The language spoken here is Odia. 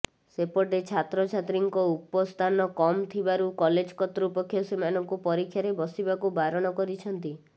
ସେପଟେ ଛାତ୍ରଛାତ୍ରୀଙ୍କ ଉପସ୍ଥାନ କମ୍ ଥିବାରୁ କଲେଜ କର୍ତ୍ତୃପକ୍ଷ ସେମାନଙ୍କୁ ପରୀକ୍ଷାରେ ବସିବାକୁ ବାରଣ କରିଛନ୍ତି